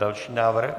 Další návrh.